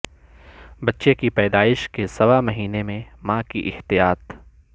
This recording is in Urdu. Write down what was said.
بچے کی پیدائش کے سوا مہینے میں ماں کی احتیاط